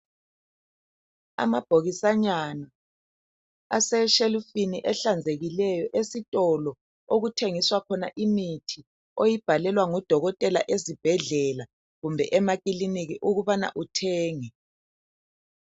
Amabhokisanyana aseshelufini ehlanzekileyo esitolo okuthengiswa khona imithi oyibhalelwa ngoDokotela ezibhedlela kumbe emakiliniki ukubana uthenge.